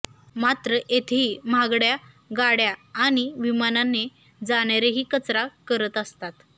मात्र येथेही महागड्या गाड्या आणि विमानाने जाणारेही कचरा करत असतात